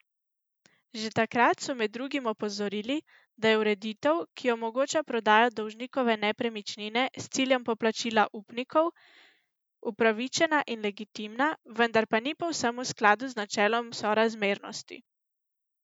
Že takrat so med drugim opozorili, da je ureditev, ki omogoča prodajo dolžnikove nepremičnine s ciljem poplačila upnikov, upravičena in legitimna, vendar pa ni povsem v skladu z načelom sorazmernosti.